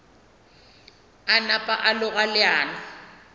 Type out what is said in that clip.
a napa a loga leano